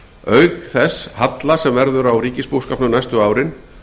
auk þess halla sem verður á ríkisbúskapnum næstu árin